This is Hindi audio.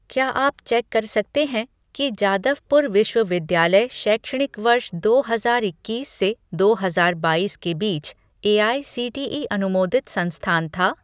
क्या आप चेक कर सकते हैं कि जादवपुर विश्वविद्यालय शैक्षणिक वर्ष दो हजार इक्कीस से दो हज़ार बाइस के बीच एआईसीटीई अनुमोदित संस्थान था?